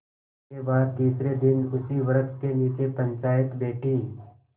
इसके बाद तीसरे दिन उसी वृक्ष के नीचे पंचायत बैठी